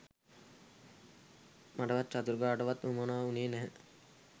මටවත් චතුරිකාටවත් වුවමනා වුණේ නැහැ.